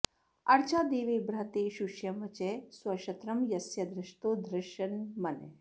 अर्चा दिवे बृहते शूष्यं वचः स्वक्षत्रं यस्य धृषतो धृषन्मनः